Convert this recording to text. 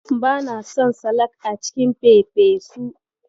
Bana son salak a cikin fefesu.